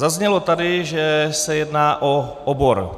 Zaznělo tady, že se jedná o obor.